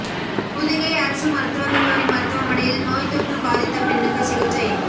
புதுகை அரசு மருத்துவகல்லூரி மருத்துவமனையில் நோய் தொற்று பாதித்த பெண்ணுக்கு சிகிச்சை